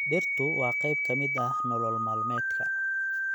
Dhirtu waa qayb ka mid ah nolol maalmeedka.